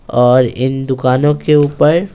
और इन दुकानों के ऊपर--